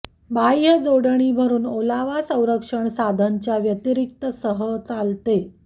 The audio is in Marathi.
बाह्य जोडणी भरून ओलावा संरक्षण साधन च्या व्यतिरिक्त सह चालते